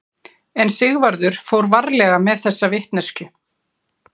En Sigvarður fór varlega með þessa vitneskju.